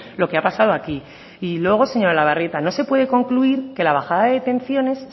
lo que ha pasado aquí y luego señora olabarrieta no se puede concluir que la bajada de detenciones